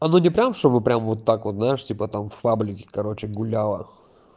оно не прямо чтобы прямо вот так вот да типа там чтобы в па блике короче гуляло